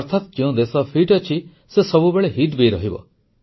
ଅର୍ଥାତ୍ ଯେଉଁ ଦେଶ ଫିଟ୍ ଅଛି ସେ ସବୁବେଳେ ହିତ୍ ବି ରହିବ